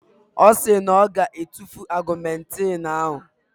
Ọ sị na ọ ga-etufu ọgụmentịn ahụ.